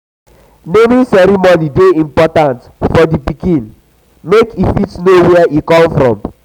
naming um ceremony de um important for um di pikin make e fit know where e from come